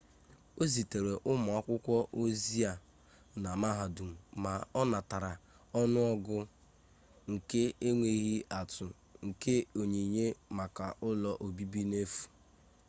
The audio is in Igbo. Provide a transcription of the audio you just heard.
ọ zitere ụmụakwụkwọ ozi-e na mahadum ma ọ natara ọnụọgụ nke enweghị atụ nke onyinye maka ụlọ obibi n'efu